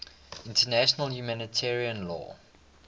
international humanitarian law